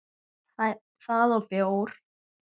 Það og bjór.